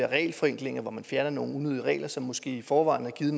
regelforenklinger hvor man fjerner nogle unødige regler som måske i forvejen har